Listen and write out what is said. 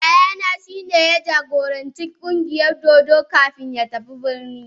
Yayana shi ne ya jagoranci ƙungiyar dodo kafin ya tafi birni.